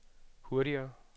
hurtigere